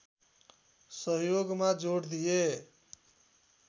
सहयोगमा जोड दिए